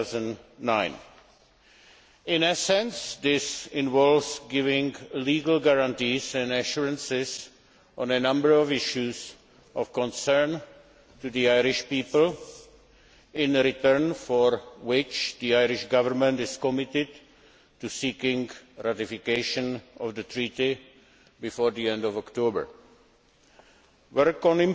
2009. In essence, this involves giving legal guarantees and assurances on a number of issues of concern to the Irish people, in return for which the Irish Government is committed to seeking ratification of the Treaty before the end of October. Work on